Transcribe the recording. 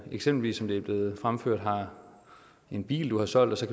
eksempelvis som det er blevet fremført har en bil du har solgt og så